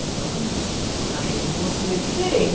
Então, a gente construía diferente.